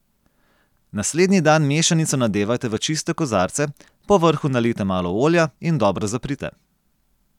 Naslednji dan mešanico nadevajte v čiste kozarce, po vrhu nalijte malo olja in dobro zaprite.